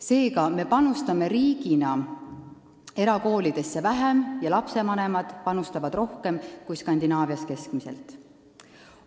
Seega, me panustame riigina erakoolidesse vähem ja lastevanemad panustavad rohkem kui Skandinaavias keskmiselt.